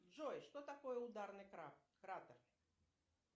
джой что такое ударный кратер